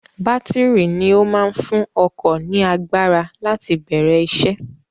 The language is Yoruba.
Bátìrì ni ó máa ń fún ọkọ̀ ní agbára láti bẹ̀rẹ̀ isẹ́.